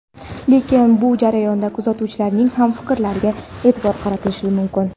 Lekin bu jarayonda kuzatuvchilarning ham fikrlariga e’tibor qaratilishi mumkin.